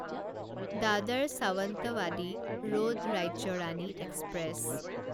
দাদাৰ Sawantwadi road Rajya Rani express